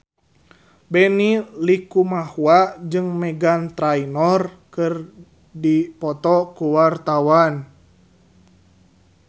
Benny Likumahua jeung Meghan Trainor keur dipoto ku wartawan